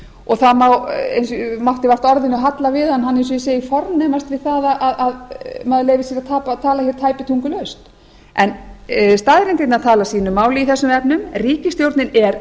og það mátti vart orðinu halla við hann hann eins og ég segi fornemast við það að maður leyfi sér að tala hér tæpitungulaust en staðreyndirnar tala sínu máli í þessum efnum ríkisstjórnin er